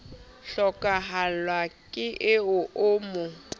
hlokahallwa ke eo o mo